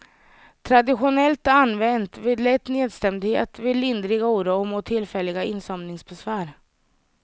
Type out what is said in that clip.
Traditionellt använt vid lätt nedstämdhet, vid lindrig oro och mot tillfälliga insomningsbesvär.